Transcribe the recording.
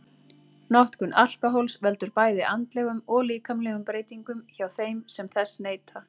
Notkun alkóhóls veldur bæði andlegum og líkamlegum breytingum hjá þeim sem þess neyta.